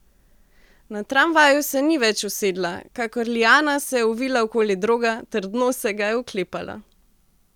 Na tramvaju se ni več usedla, kakor liana se je ovila okoli droga, trdno se ga je oklepala.